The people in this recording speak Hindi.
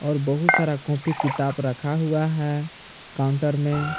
और बहुत सारा कॉपी किताब रखा हुआ है काउंटर में।